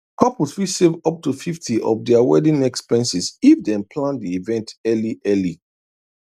couples fit save up to 50 of their wedding expenses if dem plan the event early early